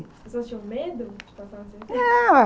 As pessoas tinham medo de passar no cemitério?